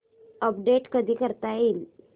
update कधी करता येईल